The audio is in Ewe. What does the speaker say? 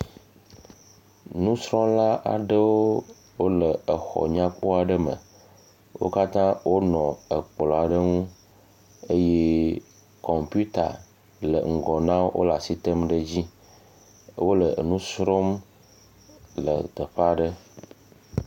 Nusrɔ̃la aɖewo wole exɔ nyakpɔ aɖe me. Wo katã wonɔ ekplɔ̃a ɖe ŋu eye kɔmpiuta le ŋgɔ na wo wole asi tém dzi. Wole nu srɔ̃m le teƒa ɖe.